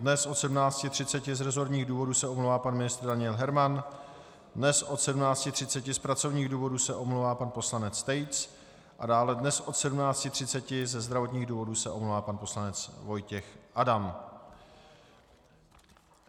Dnes od 17.30 z resortních důvodů se omlouvá pan ministr Daniel Herman, dnes od 17.30 z pracovních důvodů se omlouvá pan poslanec Tejc a dále dnes od 17.30 ze zdravotních důvodů se omlouvá pan poslanec Vojtěch Adam.